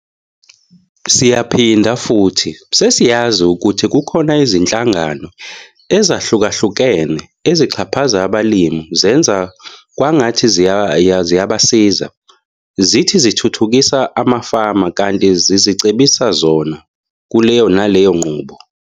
Siyaphinda futhi, sesiyazi ukuthi kukhona izinhlangano ezahlukahlukene ezixhaphaza abalimi zenza kwangathi ziyabasiza. Zithi "zithuthukisa amafama" kanti zizicebisa zona kuleyo naleyo nqubo.